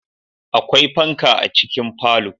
Akwai fanka a cikin falo